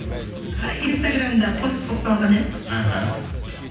инстаграмда пост қылып салған едім іхі